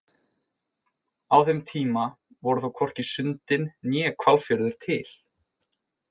Á þeim tíma voru þó hvorki Sundin né Hvalfjörður til.